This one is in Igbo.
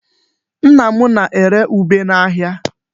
Nna m na-ere ube n'ahịa.